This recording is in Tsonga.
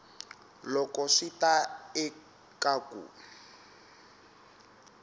loko swi ta eka ku